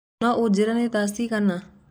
no unjĩre nĩ thaa cĩĩgana